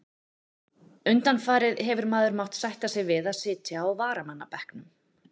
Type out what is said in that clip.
Undanfarið hefur maður mátt sætta sig við að sitja á varamannabekknum.